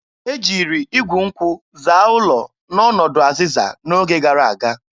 E jiri igwu nkwụ zaa ụlọ n'ọnọdụ azịza n'oge gara aga.